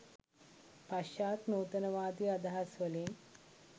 පශ්චාත් නූතනවාදී අදහස්වලින්